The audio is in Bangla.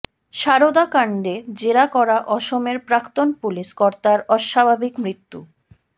সারদা কাণ্ডে জেরা করা অসমের প্রাক্তন পুলিস কর্তার অস্বাভাবিক মৃত্যু